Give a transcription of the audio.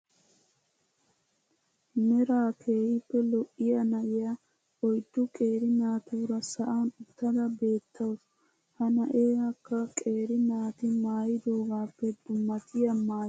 Meraa keehippe lo'iyaa na'iyaa oyddu qeeri naatuura sa'an uttada beettaws. He na'iyaakka qeeri naati maayidoogaappe dummatiyaa maayuwaa maaya uttasu .